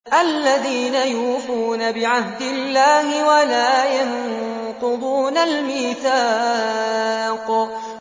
الَّذِينَ يُوفُونَ بِعَهْدِ اللَّهِ وَلَا يَنقُضُونَ الْمِيثَاقَ